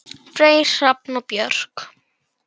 Freyr, Hrafn og Björk.